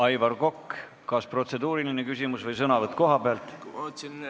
Aivar Kokk, kas protseduuriline küsimus või sõnavõtt kohapealt?